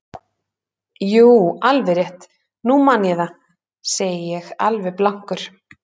Jú, alveg rétt, nú man ég það, segi ég alveg blankur.